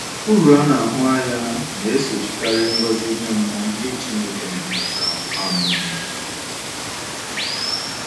Uru a na-ahụ anya na - esochikarị ngọzi ime mmụọ ndị Chineke na - enweta um.